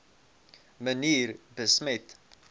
manier besmet